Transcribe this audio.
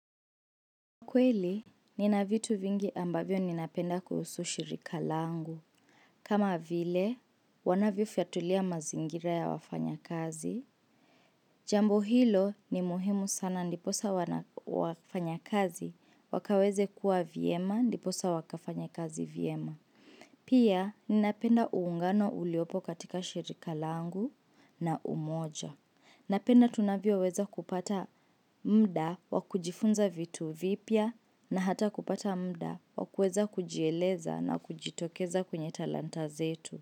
Kweli, ninavitu vingi ambavyo ninapenda kuhusu shirika langu. Kama vile, wanavyo fiatulia mazingira ya wafanya kazi. Jambo hilo ni muhimu sana ndiposa wafanya kazi wakaweze kuwa viema ndiposa wakafanya kazi viema. Pia, ninapenda uungano uliopo katika shirika langu na umoja. Na penda tunavio weza kupata mda wakujifunza vitu vipya na hata kupata mda wakueza kujieleza na kujitokeza kuenye talanta zetu.